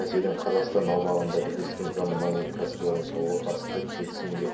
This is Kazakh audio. мәселен қазақстан аумағында бірлескен заманауи кәсіпорын салуға қатысты келісімге